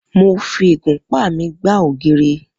Mo fi ìgúnpá mi gbá ògiri.